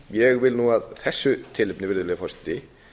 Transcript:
ég vil nú af þessu tilefni virðulegi forseti